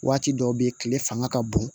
Waati dɔw be yen kile fanga ka bon